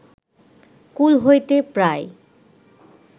কূল হইতে প্রায়